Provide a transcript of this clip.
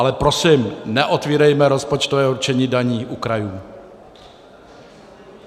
Ale prosím, neotvírejme rozpočtové určení daní u krajů.